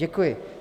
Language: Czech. Děkuji.